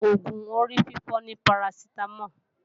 Oògùn orífífọ́ ni Parasitamol